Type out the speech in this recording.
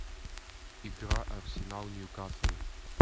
игра арсенал ньюкасл